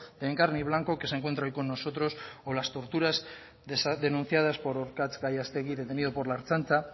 de encarni blanco que se encuentra hoy con nosotros o las torturas denunciadas por orkartz gallastegi detenido por la ertzaintza